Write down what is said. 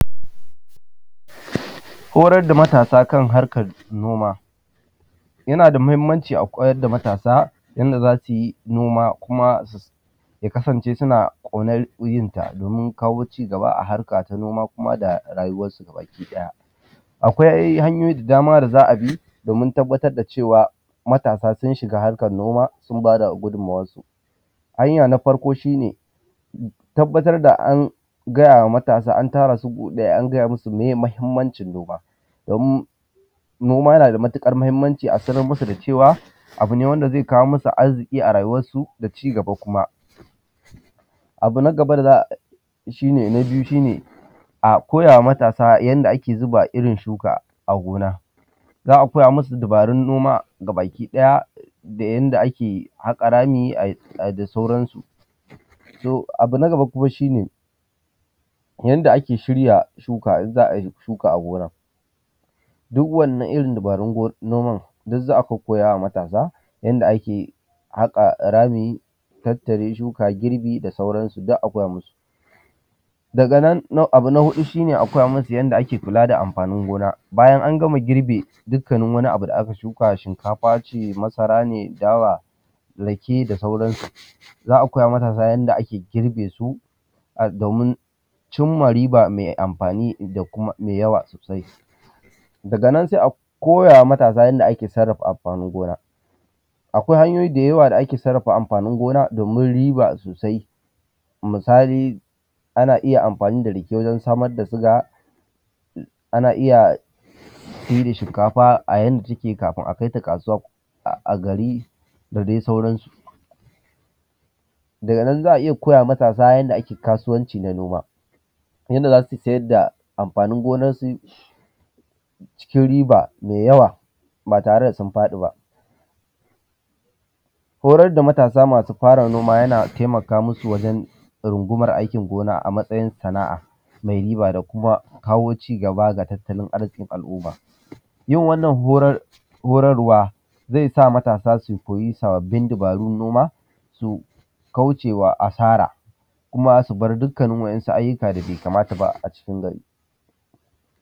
Horar da matasa kan harkar noma. Yana da mahimmanci a koyar da matasa wanda za su yi noma kuma, ya kasance suna ƙaunar yin sa domin kawo cigaba a harka ta noma kuma da rayuwarsu bakiɗaya. Akwai hanyoyi da dama da za a bi domin tabbatar da cewa, matasa sun shiga harkar noma, sun ba da gudunmawarsu. Hanya na farko shi ne, tabbatar da an gaya wa matasa an tara su gu ɗaya an gaya musu meye mahimmancin noma, domin noma na da matiƙar mahimmanci a sanar musu da cewa, abu ne wanda zai kawo musu arziƙi a rayuwarsu da cigaba kuma. Abu na gaba da za a; shi ne, na biyu shi ne, a koya wa matasa yanda ake zuba irin shuka a gona. Za a koya musu dabarun noma gabakiɗaya da yanda ake haƙa rami ai; ai; da sauran su. To, abu na gaba kuma shi ne, yanda ake shirya shuka in za ai shuka a gona, duw wannan irin dabarun gon; noman, duk za a kokkoya wa matasa yanda ake haƙa rami, tattare shuka, girbi da sauran su duk a koya musu. Daga nan na; abu na huɗu shi ne a koya musu yanda ake kula da anfanin gona, bayan an gama girbe dukkanin wani abu da aka shuka, shinkafa ce masara ne dawa rake da sauran su, za a koya wa matasa yanda ake girbe su, a; domin cim ma riba me amfani da kuma me yawa sosai. Daga nan se a koya wa matasa yanda ake sarrafa amfanin gona, akwai hanyoyi da yawa da ake sarrafa amfanin gona domin riba sosai misali, ana iya amfani da rake wajen samar da siga, ana iya se da shinkafa a yanda take kafin a kai ta kasuwa ko; a gari da dai sauran su. Daga nan, za a iya koya wa matasa yanda ake kasuwanci na noma, yanda za su sayad da amfanin gonansu cikin riba me yawa ba tare da sun faɗi ba. Horar da matasa masu fara noma yana temaka musu wajen rungumar aikin gona a matsayin sana’a me riba da kuma kawo cigaba ga tattalin arziƙin al’uma. Yin wannan horar; horarwa, ze sa matasa su koyi sababbin dabarun noma su kauce wa asara, kuma su bar dukkanin wa’yansu ayyuka da be kamata ba a cikin gari.